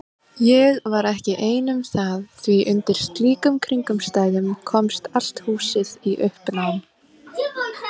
Ég var ekki ein um það því undir slíkum kringumstæðum komst allt húsið í uppnám.